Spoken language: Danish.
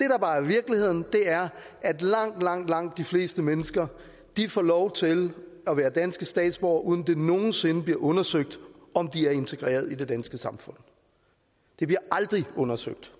bare er virkeligheden er at langt langt langt de fleste mennesker får lov til at være danske statsborgere uden det nogen sinde bliver undersøgt om de er integreret i det danske samfund det bliver aldrig undersøgt